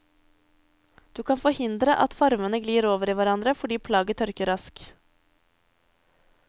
Du kan forhindre at farvene glir over i hverandre fordi plagget tørker raskt.